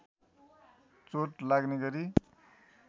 चोट लाग्ने गरी